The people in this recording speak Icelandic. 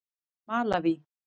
Malaví